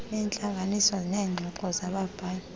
neentlanganiso zeengxoxo zababhali